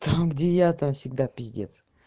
там где я там всегда пиздец